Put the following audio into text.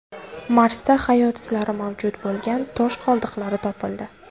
Marsda hayot izlari mavjud bo‘lgan tosh qoldiqlar topildi.